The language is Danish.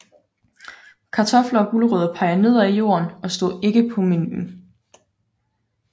Kartofler og gulerødder peger nedad i jorden og stod ikke på menuen